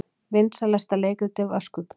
Vinsælasta leikritið var Skugga